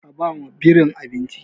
Ka ba wa birin abinci!